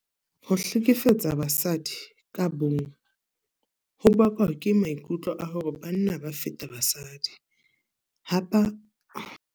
Ho hlekefetsa basadi ka bong ho bakwa ke maikutlo a hore banna ba feta basadi. Hapa.